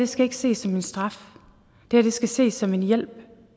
skal ikke ses som en straf det skal ses som en hjælp